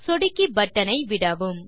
சொடுக்கி பட்டன் ஐ விடவும்